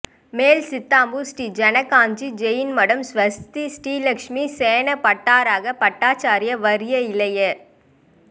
மேல் சித்தாமூா் ஸ்ரீ ஜனகாஞ்சி ஜெயின் மடம் ஸ்வஸ்தி ஸ்ரீ லட்சுமி சேன பட்டராக பட்டாச்சாா்யா வா்ய இளைய